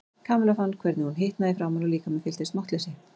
Kamilla fann hvernig hún hitnaði í framan og líkaminn fylltist máttleysi.